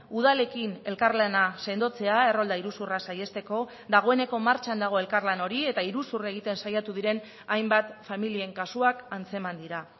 udalekin elkarlana sendotzea errolda iruzurra saihesteko dagoeneko martxan dago elkarlan hori eta iruzur egiten saiatu diren hainbat familien kasuak antzeman dira